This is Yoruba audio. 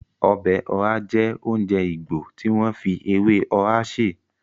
Ọbẹ̀ ọhá jẹ́ oúnjẹ Ìgbò tí wọ́n fi ewé ọhá sè